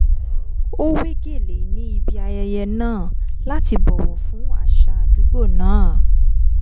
ó wé gèlè ní ibi ayẹyẹ náà láti bọ̀wọ̀ fún àṣà àdúgbò náà